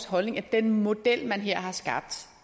holdning at den model man her har skabt